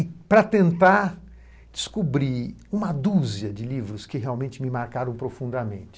E para tentar descobrir uma dúzia de livros que realmente me marcaram profundamente,